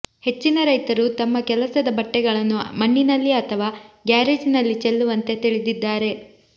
ಹೆಚ್ಚಿನ ರೈತರು ತಮ್ಮ ಕೆಲಸದ ಬಟ್ಟೆಗಳನ್ನು ಮಣ್ಣಿನಲ್ಲಿ ಅಥವಾ ಗ್ಯಾರೇಜ್ನಲ್ಲಿ ಚೆಲ್ಲುವಂತೆ ತಿಳಿದಿದ್ದಾರೆ